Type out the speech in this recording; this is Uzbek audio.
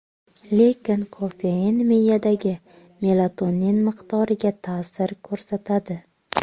Lekin kofein miyadagi melatonin miqdoriga ta’sir ko‘rsatadi.